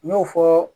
N y'o fɔ